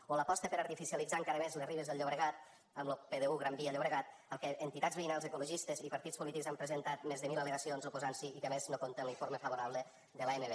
o l’aposta per artificialitzar encara més les ribes del llobregat amb lo pdu granvia llobregat al que entitats veïnals ecologistes i partits polítics han presentat més de mil al·legacions oposant s’hi i que a més no compta amb l’informe favorable de l’amb